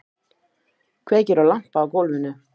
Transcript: Kveikir á lampa á gólfinu.